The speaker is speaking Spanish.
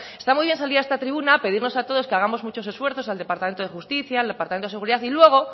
está muy bien salir a esta tribuna pedirnos a todos que hagamos muchos esfuerzos al departamento de justica al departamento de seguridad y luego